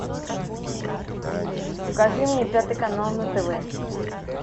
покажи мне пятый канал на тв